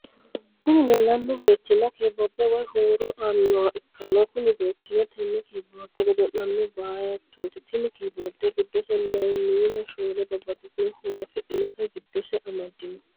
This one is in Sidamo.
Kuni lelano bettina kyiborde woy huro anoha ikana kunni bettino tene kyiborede godollano bettoti tini kiyibored gidose lemina shole babatitino hurro afidhinotta gidose amadinno.